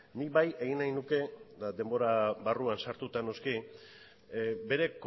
nik bai egin nahi nuke eta denbora barruan sartuta noski bere